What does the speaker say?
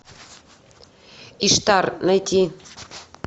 иштар найти